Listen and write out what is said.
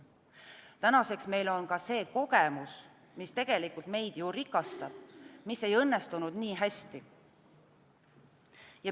Tänaseks on meil ka see kogemus – mis tegelikult meid ju rikastab –, mis ei õnnestunud nii hästi.